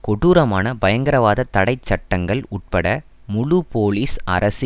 கொடூரமான பயங்கரவாத தடை சட்டங்கள் உட்பட முழு போலிஸ் அரசு